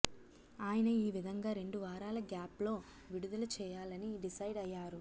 ఆయన ఈ విధంగా రెండువారాల గ్యాప్ లో విడుదల చేయాలని డిసైడ్ అయ్యారు